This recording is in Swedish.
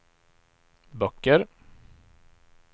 böcker